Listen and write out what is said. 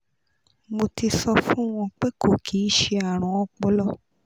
mo ti so fun won pe ko ki se arun opolo